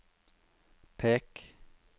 pek